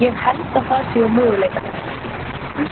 Ég held að það séu möguleikarnir.